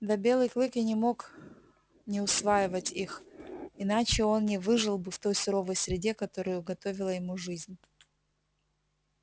да белый клык и не мог не усваивать их иначе он не выжил бы в той суровой среде которую уготовила ему жизнь